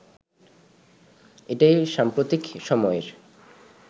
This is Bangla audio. এটাই সাম্প্রতিক সময়ের